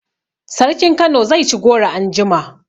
Sarkin Kano zai ci goro anjima